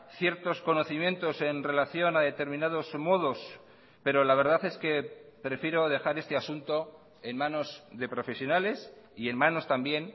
ciertos conocimientos en relación a determinados modos pero la verdad es que prefiero dejar este asunto en manos de profesionales y en manos también